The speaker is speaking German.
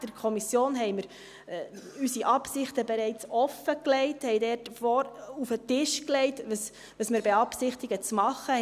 Der Kommission haben wir unsere Absichten bereits offengelegt und wir haben auf den Tisch gelegt, was wir beabsichtigen zu machen.